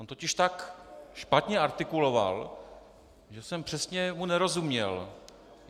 On totiž tak špatně artikuloval, že jsem mu přesně nerozuměl.